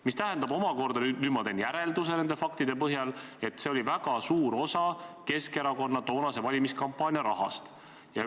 Mis tähendab omakorda – nüüd ma teen järelduse nende faktide põhjal –, et see oli väga suur osa Keskerakonna toonase valimiskampaania rahast.